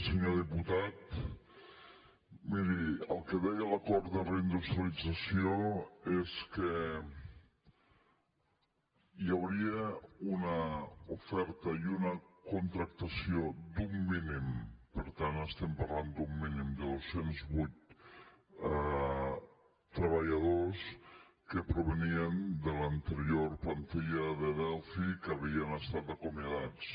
senyor diputat miri el que deia l’acord de reindustrialització és que hi hauria una oferta i una contractació d’un mínim per tant estem parlant d’un mínim de dos cents i vuit treballadors que provenien de l’anterior plantilla de delphi que havien estan acomiadats